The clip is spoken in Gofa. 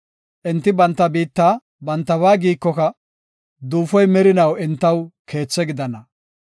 Enti banta biitta bantaba giikoka, duufoy merinaw entaw keethe gidana.